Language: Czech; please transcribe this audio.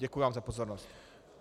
Děkuji vám za pozornost.